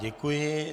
Děkuji.